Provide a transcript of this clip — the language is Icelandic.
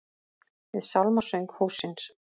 Við sálmasöng hússins.